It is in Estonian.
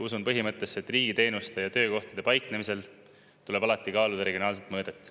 Usun põhimõttesse, et riigi teenuste ja töökohtade paiknemisel tuleb alati kaaluda regionaalset mõõdet.